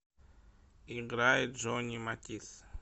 играй джонни матис